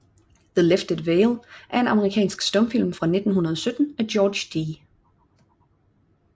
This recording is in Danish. The Lifted Veil er en amerikansk stumfilm fra 1917 af George D